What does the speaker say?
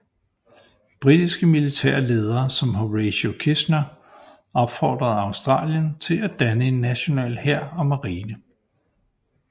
Britiske militære ledere som Horatio Kitchener opfordrede Australien til at danne en national hær og marine